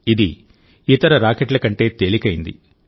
ఇది ఇతర రాకెట్ల కంటే తేలికైంది